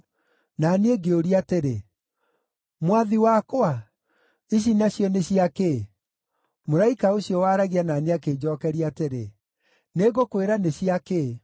Na niĩ ngĩũria atĩrĩ, “Mwathi wakwa, ici nacio nĩ cia kĩ?” Mũraika ũcio waaragia na niĩ akĩnjookeria atĩrĩ, “Nĩngũkwĩra nĩ cia kĩ.”